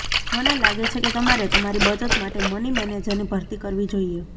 મને લાગે છે કે તમારે તમારી બચત માટે મની મેનેજરની ભરતી કરવી જોઈએ